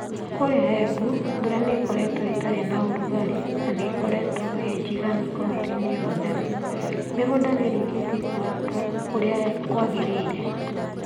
Kũria Embu, mbura nĩ ĩkoretwo ĩtarĩ na ũrugarĩ na nĩ ĩkoretwo ĩiganu Kaunti-inĩ yothe. Mĩgũnda nĩ ĩrĩkĩtie kũhandwo kũria kwagereire.